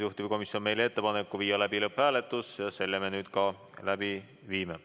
Juhtivkomisjon on teinud meile ettepaneku viia läbi lõpphääletus ja selle me nüüd ka läbi viime.